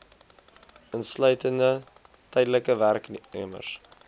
insluitende tydelike werknemers